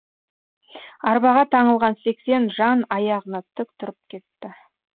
арбаға таңылған сексен жан аяғына тік тұрып кетті